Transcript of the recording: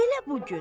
Elə bu gün.